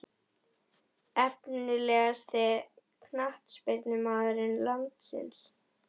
Efnilegasti knattspyrnumaður landsins?